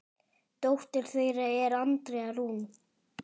Dóttir þeirra er Andrea Rún.